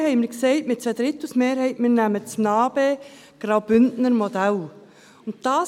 Vorhin haben wir mit einer ZweiDrittels-Mehrheit gesagt, dass wir das NA-BE-Bündner-Modell nehmen.